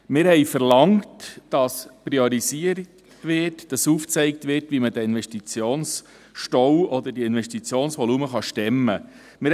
Wir verlangten, dass priorisiert wird, dass aufgezeigt wird, wie man diesen Investitionsstau oder diese Investitionsvolumen stemmen kann.